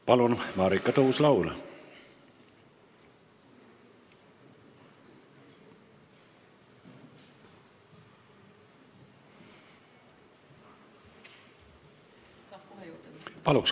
Palun, Marika Tuus-Laul!